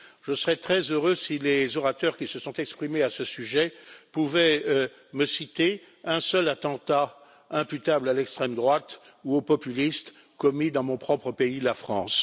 Je serais très heureux si les orateurs qui se sont exprimés à ce sujet pouvaient me citer un seul attentat imputable à l'extrême droite ou aux populistes commis dans mon propre pays, la France.